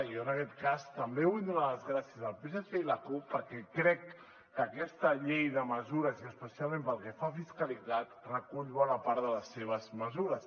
i jo en aquest cas també vull donar les gràcies al psc i la cup perquè crec que aquesta llei de mesures i especialment pel que fa a fiscalitat recull bona part de les seves mesures